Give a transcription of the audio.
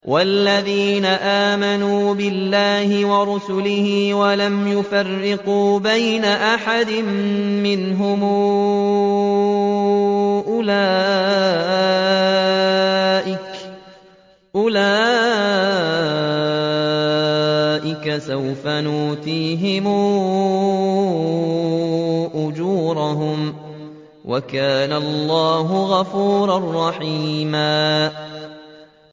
وَالَّذِينَ آمَنُوا بِاللَّهِ وَرُسُلِهِ وَلَمْ يُفَرِّقُوا بَيْنَ أَحَدٍ مِّنْهُمْ أُولَٰئِكَ سَوْفَ يُؤْتِيهِمْ أُجُورَهُمْ ۗ وَكَانَ اللَّهُ غَفُورًا رَّحِيمًا